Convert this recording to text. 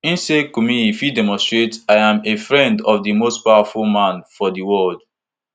e say kumuyi fit demonstrate i am a friend of di most powerful man for di world